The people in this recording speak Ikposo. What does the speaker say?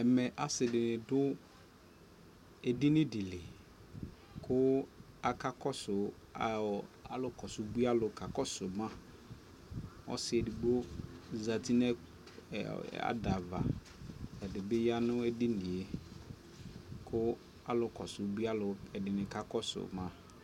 ɛkɛ asii dini dʋ ɛdini dili kʋ aka kɔsʋ alʋ bʋi alʋ kakɔsʋ ma, ɔsii ɛdigbɔ zati nʋ adava ɛdibi yanʋ ɛdiniɛ kʋ alʋ kɔsʋ ʋbʋi alʋ ɛdi kakɔsʋ ma